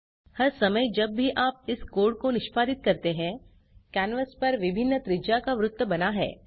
हर समय जब भी आप इस कोड़ को निष्पादित करते हैं कैनवास पर विभिन्न त्रिज्या का वृत्त बना है